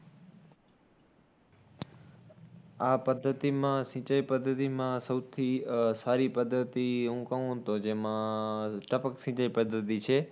આ પદ્ધતિમાં, સિંચાઈ પદ્ધતિમાં, સૌથી આહ સારી પદ્ધતિ હું કહું તો જેમાં ટપક સિંચાઈ પદ્ધતિ છે.